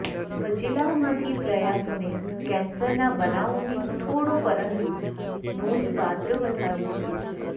બચેલાઓમાંથી પ્રયાસોને કેન્સરના બનાવોને થોડો પરંતુ નોંધપાત્ર વધારો થયો છે